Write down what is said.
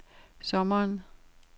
sommeren